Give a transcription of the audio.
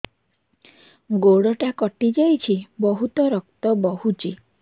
ଗୋଡ଼ଟା କଟି ଯାଇଛି ବହୁତ ରକ୍ତ ବହୁଛି